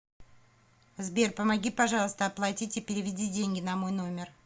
сбер помоги пожалуйста оплатить и переведи деньги на мой номер